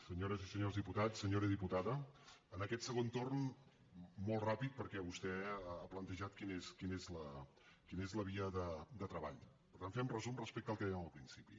senyores i senyors diputats senyora diputada en aquest segon torn molt ràpid perquè vostè ha plantejat quina és la via de treball per tant fer un resum respecte al que dèiem al principi